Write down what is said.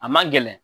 A man gɛlɛn